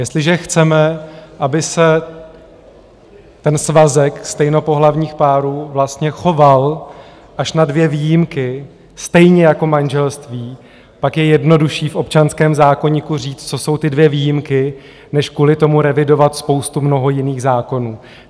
Jestliže chceme, aby se ten svazek stejnopohlavních párů vlastně choval, až na dvě výjimky, stejně jako manželství, pak je jednodušší v občanském zákoníku říct, co jsou ty dvě výjimky, než kvůli tomu revidovat spoustu mnoho jiných zákonů.